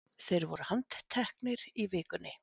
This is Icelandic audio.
Þeir voru handteknir í vikunni